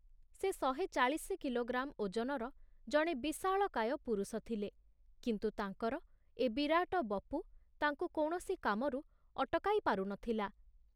ସେ ଶହେ ଚାଳିଶି କିଲୋଗ୍ରାମ ଓଜନର ଜଣେ ବିଶାଳକାୟ ପୁରୁଷ ଥିଲେ, କିନ୍ତୁ ତାଙ୍କର ଏ ବିରାଟ ବପୁ ତାଙ୍କୁ କୌଣସି କାମରୁ ଅଟକାଇ ପାରୁ ନ ଥିଲା।